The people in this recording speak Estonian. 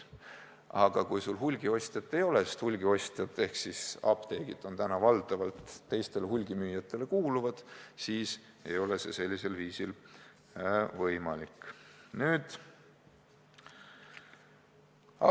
Aga kui sul hulgiostjat ei ole – hulgiostjad ehk siis apteegid kuuluvad valdavalt teistele hulgimüüjatele –, siis ei sul võimalik edu saavutada.